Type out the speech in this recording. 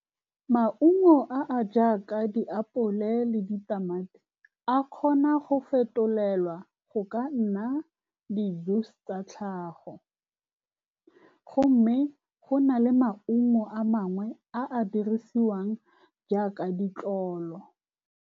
Maungo a a jaaka diapole le ditamati a kgona go fetolelwa go ka nna di-booster tlhago, mme go na le maungo a mangwe a a dirisiwang jaaka ditlolo.